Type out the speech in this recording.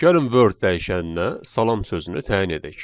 Gəlin Word dəyişəninə salam sözünü təyin edək.